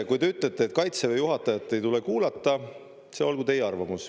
Kui te ütlete, et Kaitseväe juhatajat ei tule kuulata, see olgu teie arvamus.